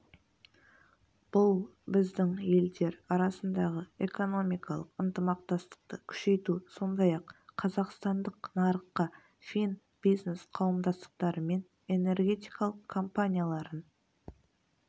бұл біздің елдер арасындағы экономикалық ынтымақтастықты күшейту сондай-ақ қазақстандық нарыққа фин бизнес-қауымдастықтары мен энергетикалық компанияларын